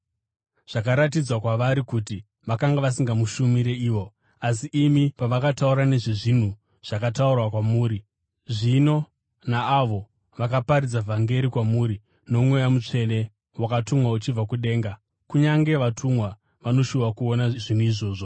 Zvakaratidzwa kwavari kuti vakanga vasingazvishumiri ivo, asi imi, pavakataura nezvezvinhu zvakataurwa kwamuri zvino naavo vakaparidza vhangeri kwamuri noMweya Mutsvene wakatumwa uchibva kudenga. Kunyange vatumwa vanoshuva kuona zvinhu izvozvi.